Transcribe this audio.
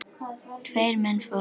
Tveir menn fórust.